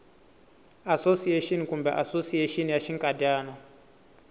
asosiyexini kumbe asosiyexini ya xinkadyana